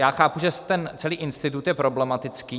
Já chápu, že ten celý institut je problematický.